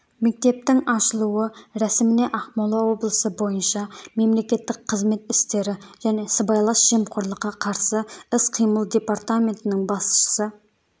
мектептің ашылуы рәсіміне ақмола облысы бойынша мемлекеттік қызмет істері және сыбайлас жемқорлыққа қарсы іс-қимыл департаментінің басшысы